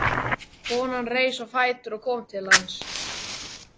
Konan reis á fætur og kom til hans.